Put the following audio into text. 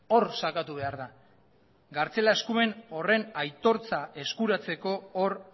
hor sakatu behar da gartzela eskumen horren aitortza eskuratzeko hor